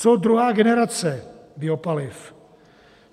Co druhá generace biopaliv?